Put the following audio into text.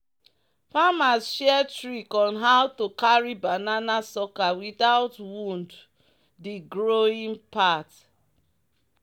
"farmers share trick on how to carry banana sucker without wound the growing part."